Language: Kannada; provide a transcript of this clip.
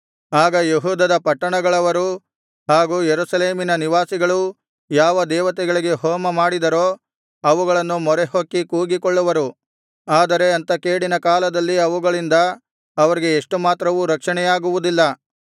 ಆಗ ಯೆಹೂದದ ಪಟ್ಟಣಗಳವರೂ ಹಾಗು ಯೆರೂಸಲೇಮಿನ ನಿವಾಸಿಗಳೂ ಯಾವ ದೇವತೆಗಳಿಗೆ ಹೋಮಮಾಡಿದರೋ ಅವುಗಳನ್ನು ಮೊರೆಹೊಕ್ಕಿ ಕೂಗಿಕೊಳ್ಳುವರು ಆದರೆ ಅಂಥ ಕೇಡಿನ ಕಾಲದಲ್ಲಿ ಅವುಗಳಿಂದ ಅವರಿಗೆ ಎಷ್ಟು ಮಾತ್ರವೂ ರಕ್ಷಣೆಯಾಗುವುದಿಲ್ಲ